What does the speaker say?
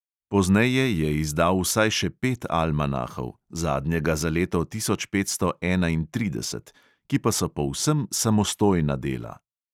Pozneje je izdal vsaj še pet almanahov (zadnjega za leto tisoč petsto enaintrideset), ki pa so povsem samostojna dela.